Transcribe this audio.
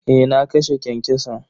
Eh na kashe kyankyason.